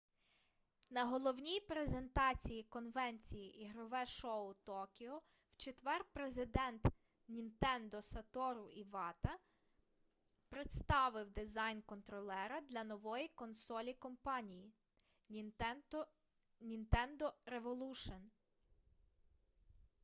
на головній презентації конвенції ігрове шоу токіо в четвер президент нінтендо сатору івата представив дизайн контролера для нової консолі компанії нінтендо револушн